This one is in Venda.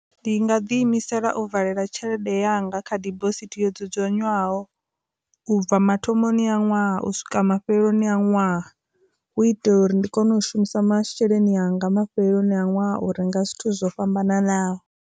Ndi nga ḓiimisela u valela tshelede yanga kha dibosithi yo dzudzanywaho ubva mathomoni a ṅwaha u swika mafheloni a ṅwaha hu itela uri ndi kone u shumisa masheleni anga mafheloni a ṅwaha u renga zwithu zwo fhambananaho.